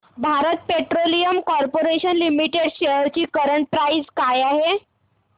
Bharat Petroleum Corporation Limited shares ची current price काय आहे